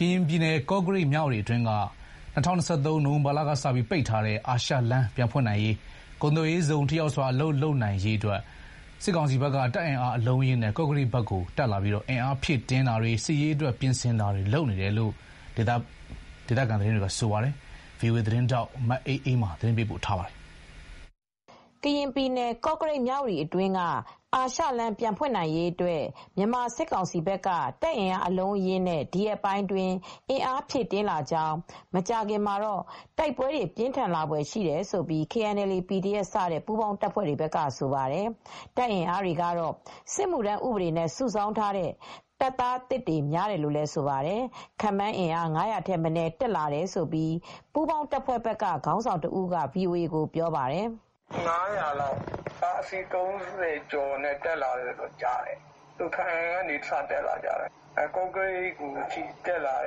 ကရင်ပြည် ကော့ကရိတ်-မြဝတီ အတွင်းက ၂၀၂၃ ခုနှစ် နိုဝင်ဘာလကစပြီး ပိတ်ထားတဲ့အာရှလမ်းပြန်ဖွင့်နိုင်ရေး ကုန်သွယ်ရေးဇုန်ထိရောက်စွာအလုပ်လုပ်ကိုင်နိုင်ရေးအတွက်စစ်ကောင်စီဘက်ကတပ်အင်းအားအလုံးအရင်းနဲ့ ကော့ကရိတ်ဘက်ကိုတက်လာပြီးအင်အားဖြည့်တင်းတာတွေ စစ်ရေးအတွက်ပြင်ဆင်တာတွေလုပ်နေတယ်လို့ ဆိုပါတယ်။ ဒီသတင်းကိုဗွီအိုအေသတင်းထောက်မအေးအေးမာကသတင်းပေးပို့ထားပါတယ် ။ ကရင်ပြည်နယ် ကော့ကရိတ် မြ၀တီအတွင်းက အာရှလမ်းပြန်ဖွင့်နိုင်ရေးအတွက် မြန်မာစစ်ကောင်စီဘက်ကတပ်အင်အားအလုံးအရင်းနဲ့ဒီရက်ပိုင်းအတွင်းအင်အားဖြည့်တင်းလာနေကြောင်း မကြာခင်မှာတော့တိုက်ပွဲတွေပြင်းထန်လာဖွယ်ရှိတယ်လို့ KNLA/PDF စတဲ့ပူးပေါင်းတပ်တွေဘက်ကဆိုပါတယ်။ တင်အင်အားတွေကတော့စစ်မှုထမ်းဥဒေနဲ့ စုဆောင်းထားတဲ့တပ်သားသစ်တွေများတယ်လို့လည်းဆိုပါတယ် ခန့်မှန်းအင်အား ၅၀၀ထက်မနည်းတက်လာတယ်လို့ ပူးပေါင်းတပ်ဖွဲ့ဘက်ကခေါင်းဆောင်တဦးက VOA ကို ပြောပြပါတယ်။ "ခန့်မှန်းအင်အားက ၅၀၀လောက်ရှိတယ် ကားအစီး ၃၀ကျော်နဲ့တက်လာတယ်လို့သိရပါတယ်၊ ဘားအံကနေစတက်လာတယ် ကော့ကရိတ်အထိတက်လာပါ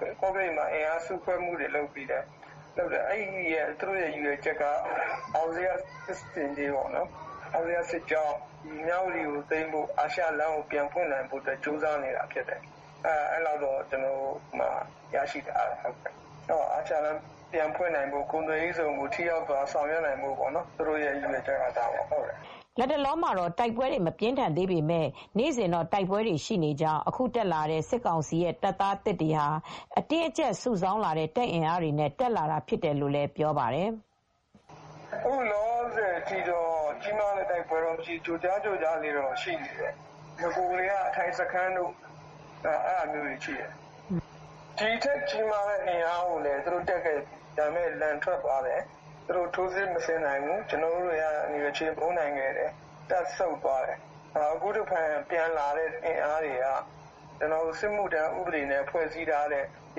တယ် ကော့ကရိတ်မှာအင်အားစုဖဲွ့မူ့တွေလုပ်ပြီးတော့ အောင်ဇေယျစစ်ကြောင်းနဲ့ မြ၀တီကိုပြန်ပြီးထိမ်းချုပ်နိုင်ဖို့ နဲ့ အာရှလမ်းကို ပြန်ဖွင့်နိုင်ဖို့ကြိုစားနေတယ် အာရှလမ်းကိုပြန်ဖွင့်နိုင်ဖို့ ကုန်သွယ်ရေးဇုန်ကို ထိရောက်စွာထိမ်းချုပ်နိုင်ဖို့ဖြစ်တယ်" လတ်တလော တိုက်ပွဲတွေမပြင်းထန်သေးပေမယ့် နေစဉ်တော့တိုက်ပွဲတွေရှိနေကြောင်း အခု တက်လာတဲ့ စစ်ကောင်စီရဲ့တပ်သားသစ်တွေဟာ အတင်းအကြပ်စုဆောင်းလာတဲ့တပ်အင်အားတွေနဲ့တက်လာဖြစ်တယ်လို့ဆိုပါတယ်။ "အခုလောလောဆယ်အထိကတော့ ကြီးမားတဲ့တိုက်ပွဲမရှိသေးဘူး ကြိုးကြား တိုက်ပဲွတွေတော့ရှိပါတယ်၊ နဂိုကတည်းက အထိုင်စခန်းတွေတော့ရှိတယ် ဒီထက်ကြီးမားတဲ့အင်အားနဲ့ လည်းတက်လာတာရှိတယ် ဒါပေမယ့် လန်ထွက်သွားတယ်သူတို့ ထိုးစစ်မဆင်နိုင်ဘူးကျနော်တို့ဘက်က ချေမှုန်းခဲ့တယ် သူတို့ပြန်ဆုတ်သွားတယ်၊ အခုတဖန်ပြန်လာတဲ့အင်အားတွေက စစ်မှုထမ်းဥပဒေနဲ့ ဖွဲ့စည်းထားတဲ့အ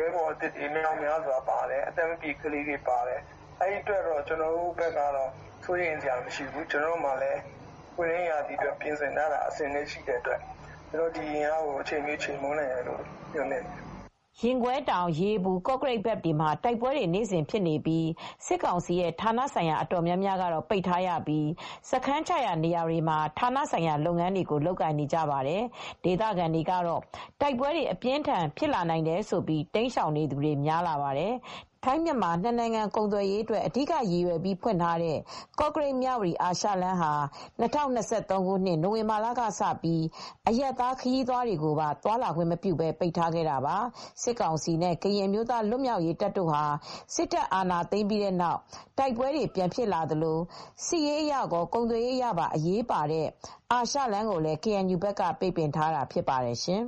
င်အားရဲဘော်သစ်တွေမြောက်များစွာပါတယ် အသက်မပြည့်သေးတဲ့ကလေးတွေလည်းပါတယ် အဲဒီအတွက် ကျနော်တို့ဘက်က စိုးရိမ်စရာမရှိဘူး ကျနော်တို့မှာပွင့်လင်းရာသီအတွက်ပြင်ဆင်ထားတာရှိတော့ ကျနော်တို့ဒီအင်အားကို အချိန်မရွေးချေမှုန်းနိုင်တယ်" ရင်ကွဲတောင်ရေပူ ကော့ကရိတ် ဘက်မှာတိုက်ပွဲတွေနေ့စဉ်ဖြစ်နေပြီး စစ်ကောင်စီရဲ့ဌာနဆိုင်ရာအတော်များများကတော့ပိတ်ထားရပြီး စစ်စခန်းချရာနေရာတွေမှာ ဌာနဆိုင်ရာလုပ်ငန်းတွေကိုလုပ်ကိုင်နေရပါတယ် ။ ဒေသခံတွေကတော့ တိုက်ပွဲအပြင်းအထန်ဖြစ်နိုင်တယ်ဆိုပြီး တိမ်းရှောင်သူတွေလည်းများလာပါတယ်။ ထိုင်း-မြန်မာ နှစ်နိုင်ငံကုန်သွယ်ရေးအတွက် အဓိကရည်ရွယ်ပြီးဖွင့်ထားတဲ့ ကော့ကရိတ်မြ၀တီအာရှလမ်းဟာ ၂၀၂၃ခုနှစ်နိုဝင်ဘာလကစပြီး အရပ်သားခရီးသွားတွေကိုပါသွားလာခွင့်မပြုပဲ ပိတ်ထားခဲ့တာပါ။ စစ်ကောင်စီနဲ့ ကရင်အမျိုးသားလွတ်မြောက်ရေးတပ်တို့ ဟာ စစ်တပ်အာဏာသိမ်းပြီးနောက်တိုက်ပဲွတွေပြန်ဖြစ်လာသလို စစ်ရေးအရကော ကုန်သွယ်ရေးအရပါ အရေးပါတဲ့ အာရှလမ်းကိုလည်း KNU ဘက်က ပိတ်ပင်ထားတာဖြစ်ပါတယ်ရှင်